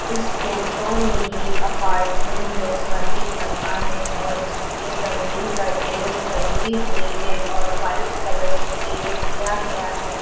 इस फोटो में एक अपार्टमेंट जैसा दिख रहा है और इसमे जमीन पर टेल्स लगी हुई है और वाइट कलर से पेंट किया गया है।